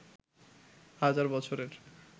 হাজার বছরের